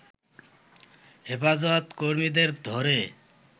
হেফাজত কর্মীদের ধরে